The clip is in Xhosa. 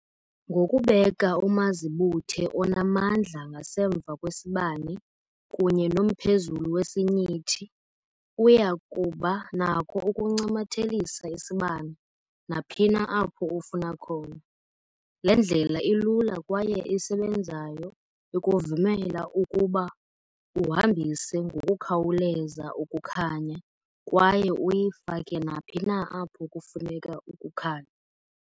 Ngokubeka umazibuthe onamandla ngasemva kwesibane kunye nomphezulu wesinyithi, uya kuba nakho ukuncamathelisa isibane naphina apho ufuna khona. Le ndlela ilula kwaye isebenzayo ikuvumela ukuba uhambise ngokukhawuleza ukukhanya kwaye uyifake naphi na apho kufuneka ukukhanya.